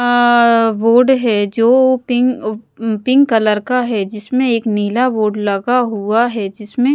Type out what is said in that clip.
अ board है जो pink pink colour का है जिसमें एक नीला बोर्ड लगा हुआ है जिसमें--